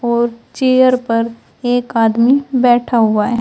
और चेयर पर एक आदमी बैठा हुआ है।